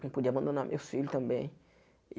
Não podia abandonar meus filhos também.